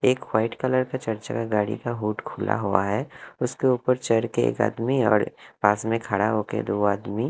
एक white colour का चर चका गाड़ी का हुड खुला हुआ है उसके ऊपर चढ़के एक आदमी और पास में खड़ा होके दो आदमी--